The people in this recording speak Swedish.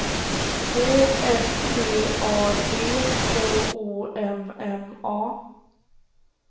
Å S T A D K O M M A